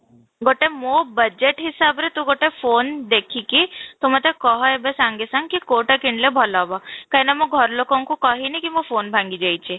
ଗୋଟେ ମୋ budge ହିସାବରେ ତୁ ଗୋଟେ phone ଦେଖି କି ତୁ ମୋତେ କହ ଏବେ ସାଙ୍ଗେ ସାଙ୍ଗ କି କୋଉଟା କିଣିଲେ ଭଲ ହେବ, କାହିଁକି ନା ମୋ ଘର ଲୋକଙ୍କୁ କହୀ କି ମୁଁ phone ଭାଙ୍ଗି ଯାଇଛି